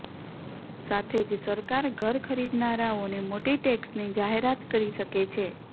સાથે જ સરકાર ઘર ખરીદનારોને મોટી ટેક્સની જાહેરાત કરી શકે છે